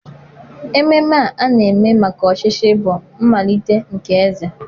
Ememe a na-eme maka ọchịchị bụ mmalite nke eze.